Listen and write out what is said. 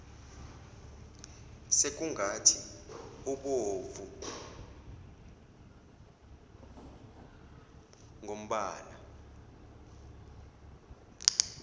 sekungathi ubovu ngombala